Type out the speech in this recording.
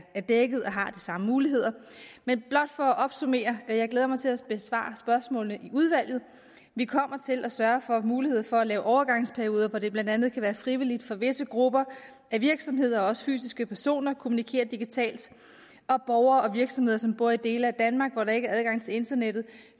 dækket og har de samme muligheder men blot for at opsummere jeg glæder mig til at besvare spørgsmålene i udvalget vi kommer til at sørge for at mulighed for at lave overgangsperioder hvor det blandt andet kan være frivilligt for visse grupper af virksomheder også fysiske personer at kommunikere digitalt borgere og virksomheder som bor i dele af danmark hvor der ikke er adgang til internettet